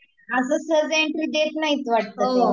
असंच सहसा एंट्री देत नाहीत वाटत ते